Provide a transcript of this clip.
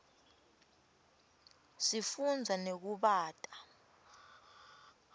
sifunza nekubata